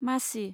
मासि